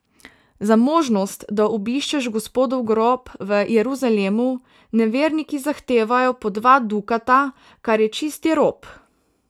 Za možnost, da obiščeš Gospodov grob v Jeruzalemu, neverniki zahtevajo po dva dukata, kar je čisti rop.